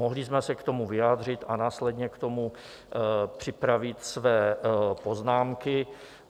Mohli jsme se k tomu vyjádřit a následně k tomu připravit své poznámky.